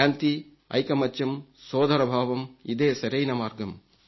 శాంతి ఐకమత్యం సోదరభావం ఇదే సరైన మార్గం